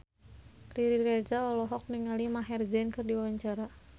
Riri Reza olohok ningali Maher Zein keur diwawancara